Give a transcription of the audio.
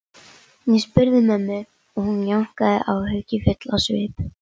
Ég spurði mömmu og hún jánkaði, áhyggjufull á svip.